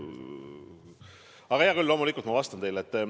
Aga hea küll, loomulikult ma vastan teile.